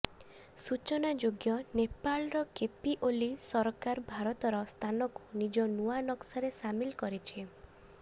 ସୂଚନାଯୋଗ୍ୟ ନେପାଳର କେପି ଓଲି ସରକାର ଭାରତର ସ୍ଥାନକୁ ନିଜ ନୂଆ ନକ୍ସାରେ ସାମିଲ୍ କରିଛି